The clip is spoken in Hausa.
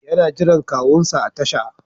Yana jiran kawunsa a tasha.